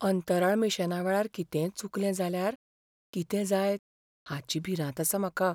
अंतराळ मिशनावेळार कितेंय चुकलें जाल्यार कितें जायत हाची भिरांत आसा म्हाका.